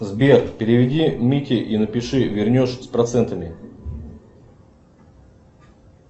сбер переведи мите и напиши вернешь с процентами